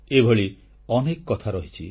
ଏଭଳି ଅନେକ କଥା ରହିଛି